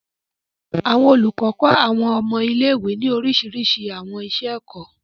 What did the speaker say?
Àwọn olúkọ kọ àwọn ọmọ ilé-ìwe ní orísirísi àwọn iṣẹ-ẹkọ.